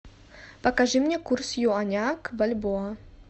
покажи мне курс юаня к бальбоа